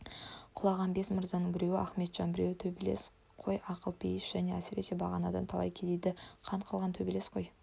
құлаған бес мырзаның біреуі ақметжан бірі төбелес қой ақылпейіс және әсіресе бағанадан талай кедейді қан қылған төбелес қой